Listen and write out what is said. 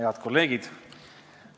Head kolleegid!